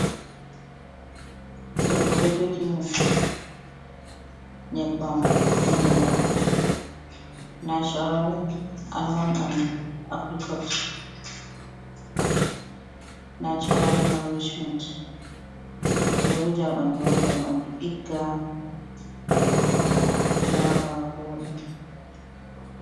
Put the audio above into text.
Debbo ɗo jogi nyeɓɓam inde man national almond an apricot natural norricement, ɓeɗo wuja ha ɓanɗu ngam ɓanɗu ɗigga laɓa, voɗa.